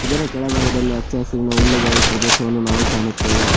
ಇದರ ಕೆಳಭಾಗದಲ್ಲಿ ಹಚ್ಚ ಹಸುರಿನ ಹುಲ್ಲುಗಾವಲು ಪ್ರದೇಶವನ್ನು ನಾವು ಕಾಣುತ್ತೆವೆ.